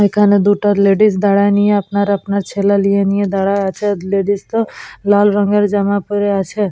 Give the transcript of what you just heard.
এখানে দুটো লেডিস দাঁড়ায়ে নিয়ে আপনার আপনার ছেলে লিয়ে নিয়ে দাঁড়ায়ে আছে লেডিস -টো লাল রঙের জামা পরে আছে।